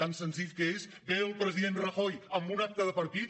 tan senzill que és ve el president rajoy a un acte de partit